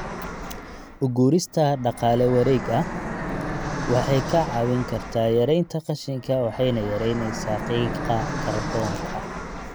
U guurista dhaqaale wareeg ah waxay kaa caawin kartaa yaraynta qashinka waxayna yaraynaysaa qiiqa kaarboonka.